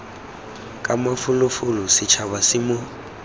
ka mafolofolo setšhaba se mo